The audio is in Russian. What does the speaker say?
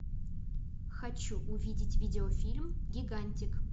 хочу увидеть видеофильм гигантик